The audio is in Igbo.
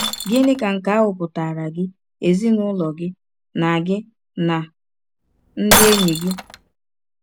Gịnị ka nke ahụ pụtaara gị, ezinụlọ gị, na gị, na ndị enyi gị?